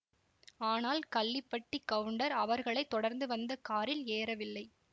ஆனால் கள்ளிப்பட்டிக் கவுண்டர் அவர்களை தொடர்ந்து வந்த காரில் ஏறவில்லை